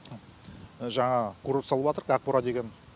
жаңа курорт салыбатырық ақбура деген